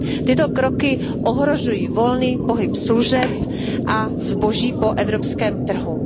Tyto kroky ohrožují volný pohyb služeb a zboží po evropském trhu.